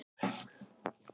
Byggð eru ný fjós.